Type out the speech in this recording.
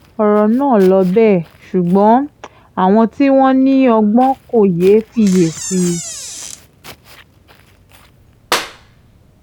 ọ̀rọ̀ náà ló bẹ́ẹ̀ ṣùgbọ́n àwọn tí wọ́n ní ọgbọ́n kò yéé fiyè sí i